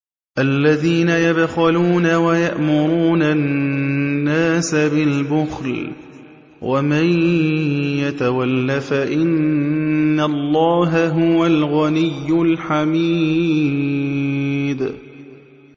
الَّذِينَ يَبْخَلُونَ وَيَأْمُرُونَ النَّاسَ بِالْبُخْلِ ۗ وَمَن يَتَوَلَّ فَإِنَّ اللَّهَ هُوَ الْغَنِيُّ الْحَمِيدُ